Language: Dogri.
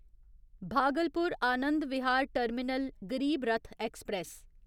Bhagalpur Anand Vihar terminal Garib Rath express